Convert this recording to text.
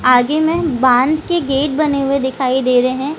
आगे में बांझ के गेट बने हुए दिखाई दे रहे है।